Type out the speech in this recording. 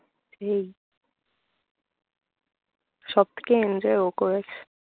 সেই সব থেকে enjoy ও করেছে